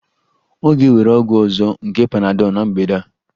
Ọ ga-ewere ọgwụ ọzọ nke panadol na mgbede a